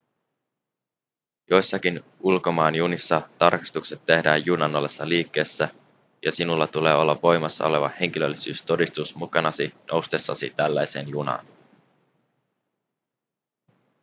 joissakin ulkomaanjunissa tarkastukset tehdään junan ollessa liikkeessä ja sinulla tulee olla voimassa oleva henkilöllisyystodistus mukanasi noustessasi tällaiseen junaan